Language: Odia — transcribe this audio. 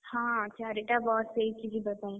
ହଁ ଚାରିଟା bus ହେଇଛି ଯିବା ପାଇଁ।